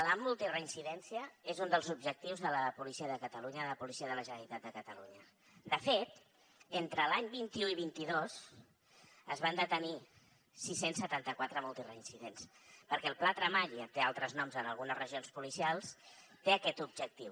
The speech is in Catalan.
la multireincidència és un dels objectius de la policia de catalunya de la policia de la generalitat de catalunya de fet entre l’any vint un i vint dos es van detenir sis cents i setanta quatre multireincidents perquè el pla tremall té altres noms en algunes regions policials té aquest objectiu